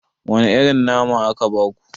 Wane irin nama aka baku?